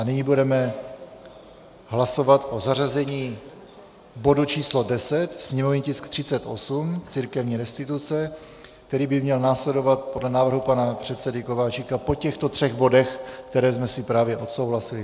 A nyní budeme hlasovat o zařazení bodu číslo 10, sněmovní tisk 38, církevní restituce, který by měl následovat podle návrhu pana předsedy Kováčika po těchto třech bodech, které jsme si právě odsouhlasili.